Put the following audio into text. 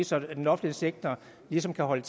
så den offentlige sektor ligesom kan holde